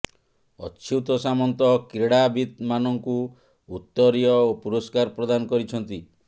ଅଚ୍ୟୁତ ସାମନ୍ତ କ୍ରୀଡାବିତ୍ମାନଙ୍କୁ ଉତ୍ତରୀୟ ଓ ପୁରସ୍କାର ପ୍ରଦାନ କରିଛନ୍ତି